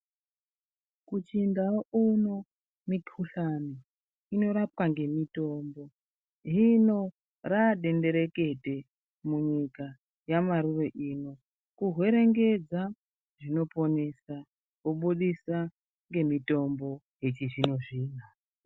Muchindau kuno mikuhlani inorapwa nemitombo hino radenderekete munyika yamaruwa ino kuhwerengedza zvinoponsesa ngemitombo yechizvino zvino.